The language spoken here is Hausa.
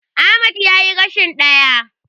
Ahmad yayi rashin ɗaya.